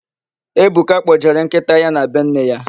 Ebuka kpọjere nkịta ya na be nne ya.